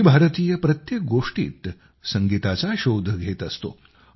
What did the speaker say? आम्ही भारतीय प्रत्येक गोष्टीत संगीताचा शोध घेत असतो